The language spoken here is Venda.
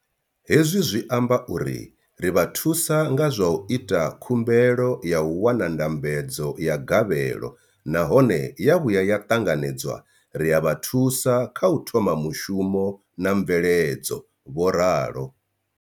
Hezwi zwi amba uri ri vha thusa nga zwa u ita khumbelo ya u wana ndambedzo ya gavhelo nahone ya vhuya ya ṱanganedzwa, ri a vha thusa kha u thoma mushumo na mveledzo, vho ralo.